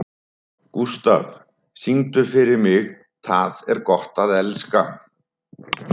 Gústaf, syngdu fyrir mig „Tað er gott at elska“.